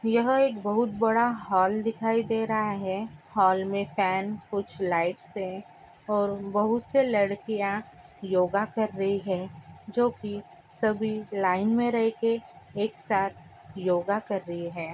यहा एक बोहउत बारा हल दिखाई दे रहा है | हल मे फन कुछ लीघटस है और बोहउत से लरकिया योग कर रही है | जोकी सब लाइन मे रहे के एक साथ योग कर रही है।